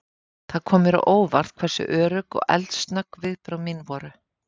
Það kom mér á óvart hversu örugg og eldsnögg viðbrögð mín voru.